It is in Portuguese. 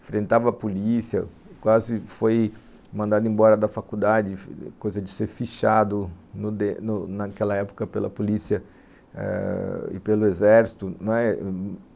enfrentava a polícia, quase foi mandado embora da faculdade, coisa de ser fichado no de naquela época pela polícia e pelo exército, não é.